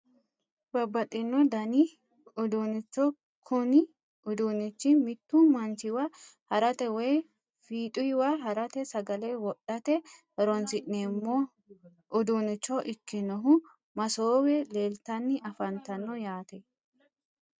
Babbaxxino dani uduunnicho kuni uduunnichi mittu manchiwa harate woyi fiixuywa harate sagale wodhate horonsi'neemmo udduunnicho ikkinohu masoowe leeltanni afantanno yaate